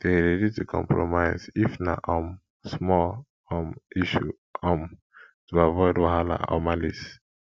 de ready to compromise if na um small um issue um to avoid wahala or malice